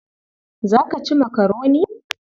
Za ka ci makaroni?